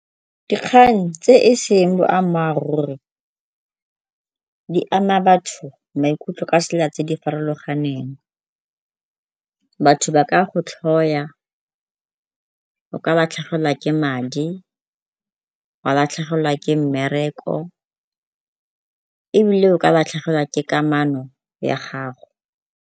Dikgang tse e seng boammaaruri di ama batho maikutlo ka tsela tse di farologaneng. Batho ba ka go tlhoya, o ka latlhegelwa ke madi, wa latlhegelwa ke mmereko, ebile o ka latlhegelwa ke kamano ya gago.